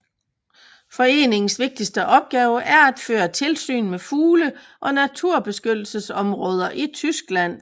Foreningens vigtigste opgave er at føre tilsyn med fugle og naturbeskyttelsesområder i Tyskland